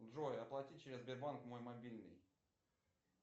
джой оплати через сбербанк мой мобильный